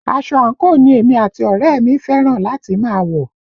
Aṣọ àǹkóò ni èmi àti ọ̀rẹ́ ẹ̀ mi fẹ́ràn láti máa wọ̀